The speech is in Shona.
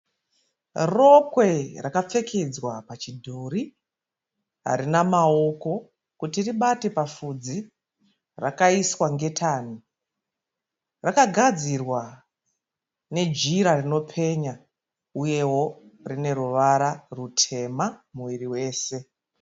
Rokwe rakapfekedzwa pachidhori harina maoko kuti ribate papfudzi rakaiswa ngitani, rakagadzirwa nejira rinopenya uyewo rine ruvara rutema muviri wose.